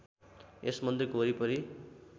यस मन्दिरको वरिपरि